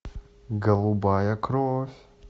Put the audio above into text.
голубая кровь